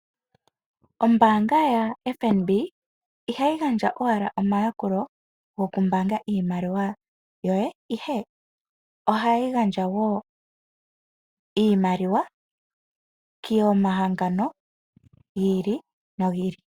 Ombaanga yaFNB ihayi gandja owala omayalulo gokumbaanga oshimaliwa ihe Ohayi gandja woo iimaliwa komahangano giili nogiili.